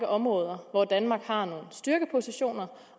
områder hvor danmark har nogle styrkepositioner